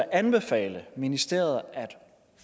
anbefale ministeriet at